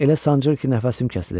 Elə sancır ki, nəfəsim kəsilir.